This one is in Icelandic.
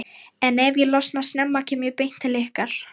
en ef ég losna snemma kem ég beint til ykkar.